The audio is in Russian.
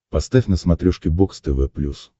поставь на смотрешке бокс тв плюс